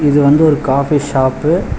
இது வந்து ஒரு காபி ஷாப்பு .